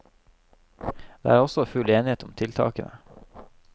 Det er også full enighet om tiltakene.